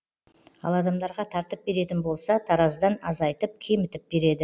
ал адамдарға тартып беретін болса таразыдан азайтып кемітіп береді